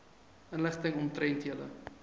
inligting omtrent julle